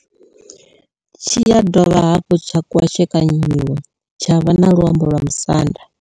Tshi ya dovha hafhu tsha kwashekanyiwa tsha vha na luambo lwa musanda.